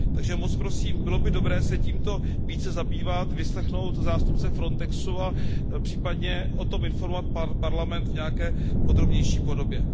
Takže moc prosím, bylo by dobré se tímto více zabývat, vyslechnout zástupce Frontexu a případně o tom informovat Parlament v nějaké podrobnější podobě.